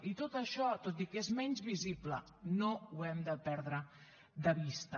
i tot això tot i que és menys visible no ho hem de perdre de vista